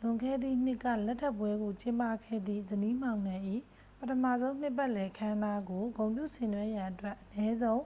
လွန်ခဲ့သည့်နှစ်က လက်ထပ်ပွဲကို ကျင်းပခဲ့သည့် ဇနီးမောင်နှံ၏ ပထမဆုံးနှစ်ပတ်လည် အခမ်းအနားကို ဂုဏ်ပြုဆင်နွဲရန်အတွက် အနည်းဆုံး